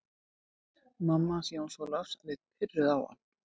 Mamma hans Jóns Ólafs leit pirruð á hann.